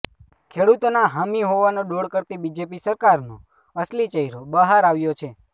ખેડૂતોના હામી હોવાનો ડોળ કરતી બીજેપી સરકારનો અસલી ચહેરો બહાર આવ્યો છે